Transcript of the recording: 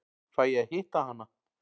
Fæ ég að hitta hana?